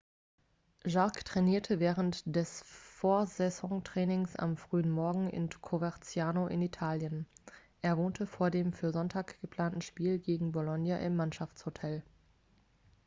jarque trainierte während des vorsaisontrainings am frühen morgen in coverciano in italien er wohnte vor dem für sonntag geplanten spiel gegen bolonia im mannschaftshotel